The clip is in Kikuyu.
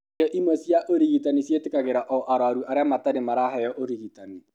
Igerio imwe cia ũrigitani ciĩtĩkagĩria o arũaru arĩa matarĩ maraheo ũrigitani.